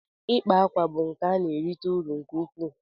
ikpa akwa bụ nka na-erite uru nke ukwuu